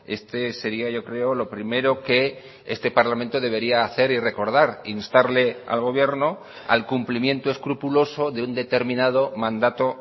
este seria yo creo lo primero que este parlamento debería hacer y recordar instarle al gobierno al cumplimiento escrupuloso de un determinado mandato